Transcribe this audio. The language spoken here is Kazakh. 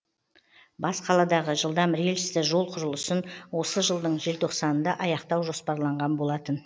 бас қаладағы жылдам рельсті жол құрылысын осы жылдың желтоқсанында аяқтау жоспарланған болатын